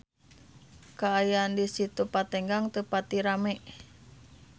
Kaayaan di Situ Patenggang teu pati rame